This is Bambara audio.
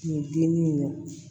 Nin dimi in na